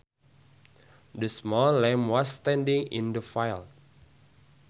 The small lamb was standing in the field